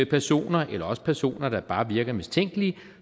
personer eller også personer der bare virker mistænkelige